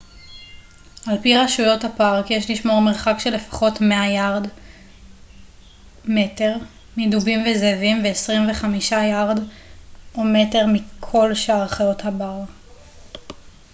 על פי רשויות הפארק יש לשמור על מרחק של לפחות 100 יארד/מטר מדובים וזאבים ו-25 יארד/מטר מכל שאר חיות הבר!